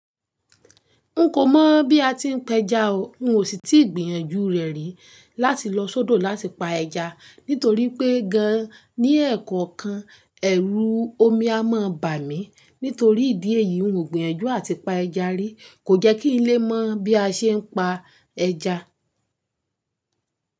N kò mọ̀ bí a ti n pẹja o. N ò sì tí gbìyànjú rẹ̀ rí láti lọ sódò láti pa ẹja nítorí pé gan an ní ẹ̀ẹ̀kọọ̀kan, ẹ̀rù omi a má bà mí nítorí ìdí èyí, n ò gbìyànjú à ti pa ẹja rí. Kò jẹ́ kí n lé mọ̀ bí a ṣe n pa ẹja.